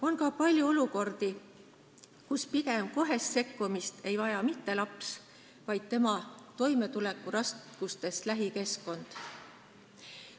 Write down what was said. On ka palju olukordi, kus kohest sekkumist ei vaja mitte laps, vaid pigem tema toimetulekuraskustes lähikeskkond.